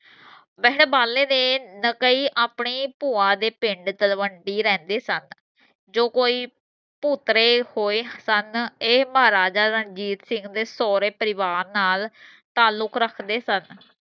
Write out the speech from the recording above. ਬਾਲੇ ਦੇ ਨਕਈ ਆਪਣੀ ਭੂਆ ਦੇ ਪਿੰਡ ਤਲਵੰਡੀ ਰਹਿੰਦੇ ਸਨ ਜੋ ਕੋਈ ਭੂਤਰੇ ਪੋਏ ਸਨ ਇਹ ਮਹਾਰਾਜਾ ਰਣਜੀਤ ਸਿੰਘ ਦੇ ਸੋਹਰੇ ਪਰਿਵਾਰ ਨਾਲ ਤਾਲੁਕ ਰੱਖਦੇ ਸਨ।